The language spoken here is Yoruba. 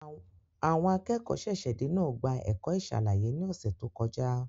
Àwọn akẹ́kọ̀ọ́ ṣẹ̀ṣẹ̀-dé náà gba ẹ̀kọ́ ìṣàlàyé ní ọ̀sẹ̀ tó kọjá.